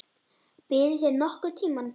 Biðuð þið nokkurn tíma?